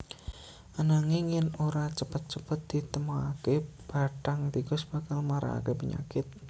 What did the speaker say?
Ananging yèn ora cepet cepet ditemokaké bathang tikus bakal maragaké penyakit